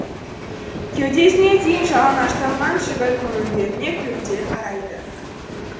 кеудесіне дейін жалаңаштанған жігіт мұның бетіне күлімдей қарайды